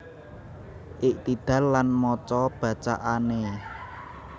Iktidal lan maca bacaane